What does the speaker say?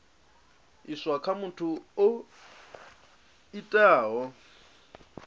iswa kha muthu o itaho